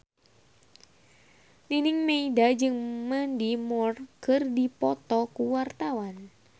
Nining Meida jeung Mandy Moore keur dipoto ku wartawan